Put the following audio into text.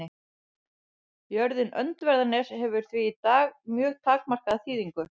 Jörðin Öndverðarnes hefur því í dag mjög takmarkaða þýðingu.